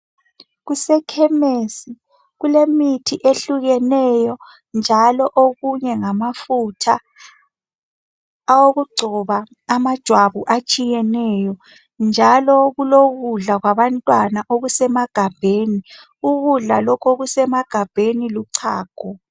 Kusekhemesi kulemithi ehlukeneyo njalo okunye ngamafutha wokugcona amajwabu atshiyeneyo. Njalo kulokudla kwabantwana okusemagabheni. Ukudla lokhu luchago